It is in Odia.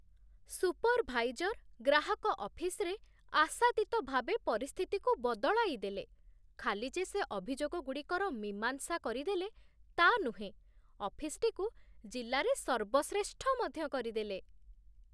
ସୁପରଭାଇଜର ଗ୍ରାହକ ଅଫିସରେ ଆଶାତୀତ ଭାବେ ପରିସ୍ଥିତିକୁ ବଦଳାଇଦେଲେ, ଖାଲି ଯେ ସେ ଅଭିଯୋଗଗୁଡ଼ିକର ମୀମାଂସା କରିଦେଲେ, ତା' ନୁହେଁ, ଅଫିସଟିକୁ ଜିଲ୍ଲାରେ ସର୍ବଶ୍ରେଷ୍ଠ ମଧ୍ୟ କରିଦେଲେ।